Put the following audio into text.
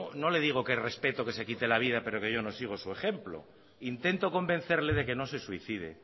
no le digo que respeto que se quite la vida pero que yo no sigo su ejemplo intento convencerle de que no se suicide